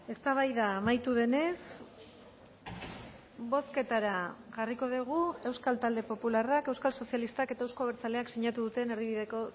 eztabaida amaitu denez bozketara jarriko dugu euskal talde popularrak euskal sozialistak eta euzko abertzaleak sinatu duten erdibideko